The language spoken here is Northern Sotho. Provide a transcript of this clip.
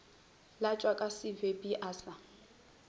latswa ka sebepi a sa